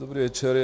Dobrý večer.